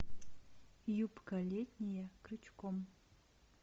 юбка летняя крючком